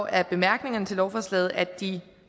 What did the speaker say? af bemærkningerne til lovforslaget at de